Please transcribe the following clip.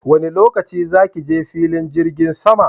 Wanne lokaci za ki je filin jirgin sama